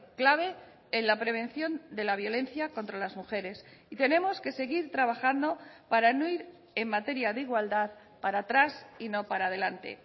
clave en la prevención de la violencia contra las mujeres y tenemos que seguir trabajando para no ir en materia de igualdad para atrás y no para adelante